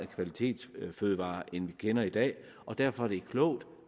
kvalitetsfødevarer end vi kender i dag derfor er det klogt